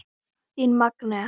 Þín Magnea.